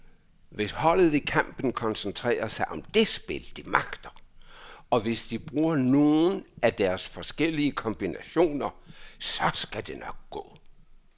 Hvis holdet i kampen koncentrerer sig om det spil, de magter, og hvis de bruger nogle af deres forskellige kombinationer, så skal det nok gå.